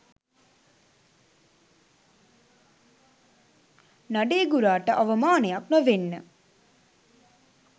නඩේ ගුරාට අවමානයක් නොවෙන්න